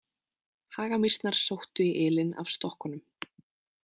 Hagamýsnar sóttu í ylinn af stokkunum.